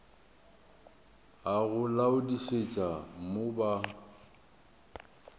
a go laodišetša mo ba